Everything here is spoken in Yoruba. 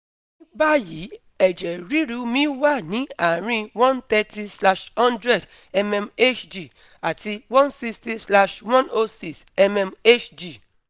Ní báyìí, eje riru mi wà ní àárín one thirty slash hundred mmHg àti one sixty slash one oh six mmHg